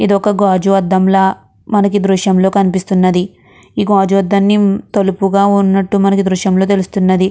ఇది ఒక గాజు అద్దంలా మనకి దృశ్యంలో కనిపిస్తున్నది ఈ గాజు అద్దాన్ని తలుపుగా ఉన్నటు మనకి దృశ్యంలో తెలుస్తున్నది.